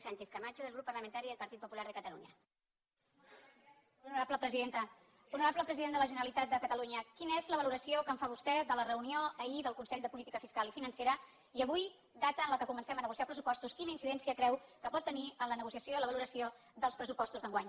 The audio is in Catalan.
honorable president de la generalitat de catalunya quina és la valoració que en fa vostè de la reunió ahir del consell de política fiscal i financera i avui data en què comencem a negociar pressupostos quina incidència creu que pot tenir en la negociació i la valoració dels pressupostos d’enguany